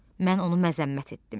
Mən onu məzəmmət etdim.